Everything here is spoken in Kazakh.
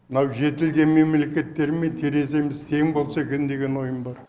мынау жетілген мемлекеттермен тереземіз тең болса екен деген ойым бар